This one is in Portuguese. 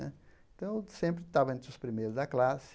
Então, eu sempre estava entre os primeiros da classe.